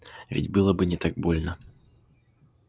ведь было бы не так больно